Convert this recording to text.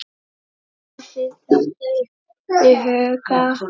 Hafið þetta í huga.